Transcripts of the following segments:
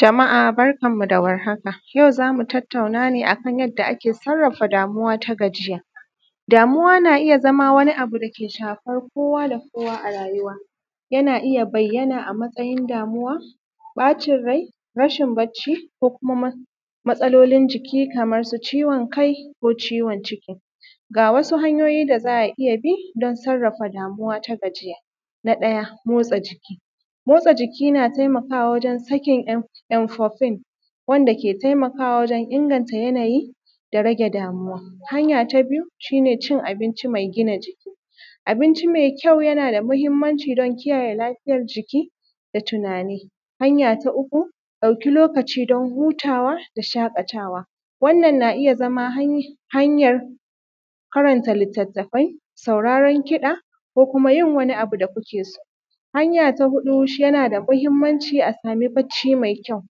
Jama’a barkanmu da warhaka yau zamu tattauna ne akan yadda ake sarrafa damuwa ta gajiya. Damuwa na iya zama wani abu dake shafan kowa da kowa a rayuwa, yana iya bayyana a matsayin damuwa, bacin rai, rashin barci, ko kuma matsalolin jiki, kaman su ciwon kai, ko ciwon ciki. Ga wasu hanyoyi da za a iya bi don sarrafa damuwa ta gajiya. Na ɗaya motsa jiki, motsa jiki na taimakawa wajen sakin impopin wanda ke taimakawa wajen inganta yana yi da rage damuwa. Hanya ta biyu shi ne cin abinci mai gina jiki, abinci mai kyau yana da muhimmanci don kiyayye lafiyan jiki da tunani. Hanya ta uku dauki lokaci don hutawa da shaƙatawa, wannan na iya zama hanyan karanta Litattafai sauraran kusa, ko kuma yin wani abu da kuke so. Hanya ta huɗu yana da mahimmanci a samu barci mai kyau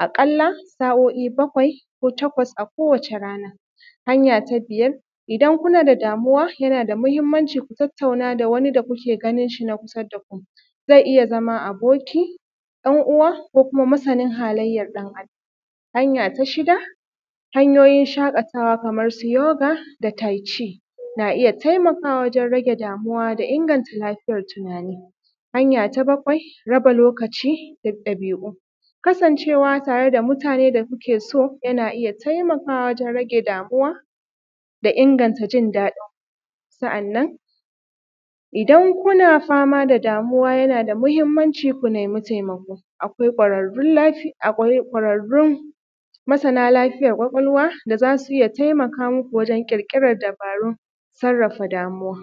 a kala sa’o’i bakwai takwas a kowace rana. Hanya ta biyar idan kuna da damuwa yana da mahimmanci ku tattauna da wani da kuke ganin shi na kusa da ku, zai iya aboki dan uwa ko kuma masanin halayyar dan adam. Hanya ta shida hanyoyin shakatawa kaman su yoga da tayci na iya taimakawa wajen rage damuwa da inganta lafiyar tunanin. Hanya ta bakwai raba lokaci da dabi’u, kasancewa tare da mutane da kuke so yana iya taimaka wajen rage damuwa da inganta jin dadinku. Sa’annan idan kuna fama da damuwa yana da mahimmanci ku nemi taimako, akwai kwararun lafiya, kwararrun masana lafiyar kwakwalwa da za su iya taimaka muku wajen kirkiran dabarun sarrafa damuwa.